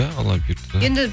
иә алла бұйыртса